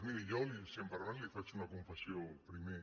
miri jo si em permet li faig una confessió primer